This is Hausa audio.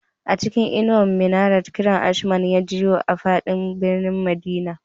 A cikin inuwar minarat, kiran ashman ya jiyo a fadin birnin madina